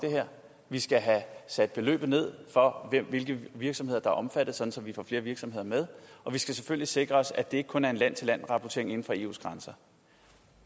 vi skal have sat beløbet ned for hvilke virksomheder der er omfattet så vi får flere virksomheder med og vi skal selvfølgelig sikre at det ikke kun er en land til land rapportering inden for eus grænser